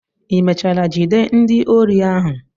Ị mechara jide ndị ori ahụ?